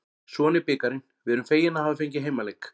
Svona er bikarinn, við erum fegin að hafa fengið heimaleik.